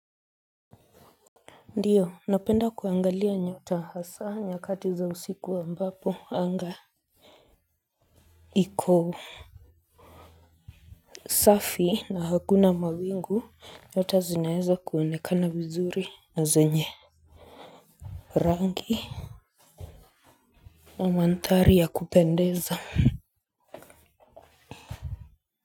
Ndiyo, napenda kuangalia nyota hasa nyakati za usiku ambapo, anga Iko Safi na hakuna mawingu nyota zinaeweza kuonekana vizuri na zenye Rangi Na mandhari ya kupendeza ha.